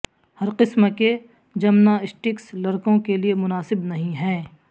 ہر قسم کے جمناسٹکس لڑکوں کے لئے مناسب نہیں ہیں